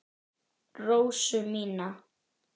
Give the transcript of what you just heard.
Rósu mína.